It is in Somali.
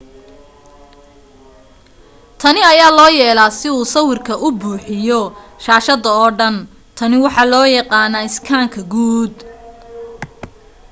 tani ayaa loo yeelaa si uu sawirka u buuxiyo shaashada oo dhan tani waxaa loo yaqaanaa iskaanka guud